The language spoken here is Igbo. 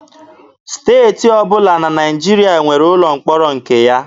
Steeti ọbụla na Naịjirịa nwere ụlọ mkpọrọ nke ya.